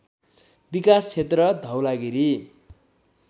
विकास क्षेत्र धवलागिरी